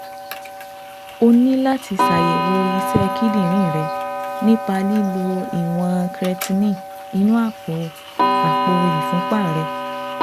O ní láti ṣàyẹ̀wò iṣẹ́ kíndìnrín rẹ nípa lílo ìwọ̀n creatinine inú àpò àpò ìfúnpá rẹ